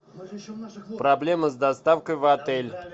проблемы с доставкой в отель